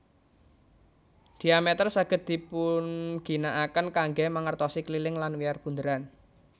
Dhiameter saged dipunginakaken kanggé mangertosi keliling lan wiyar bunderan